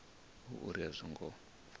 hu uri a zwo ngo